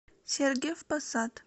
сергиев посад